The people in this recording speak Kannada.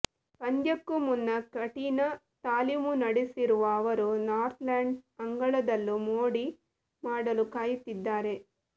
ಪಂದ್ಯಕ್ಕೂ ಮುನ್ನ ಕಠಿಣ ತಾಲೀಮು ನಡೆಸಿರುವ ಅವರು ನಾರ್ತ್ಲ್ಯಾಂಡ್ಸ್ ಅಂಗಳದಲ್ಲೂ ಮೋಡಿ ಮಾಡಲು ಕಾಯುತ್ತಿದ್ದಾರೆ